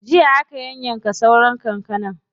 Jiya aka yayyanka sauran kankanar.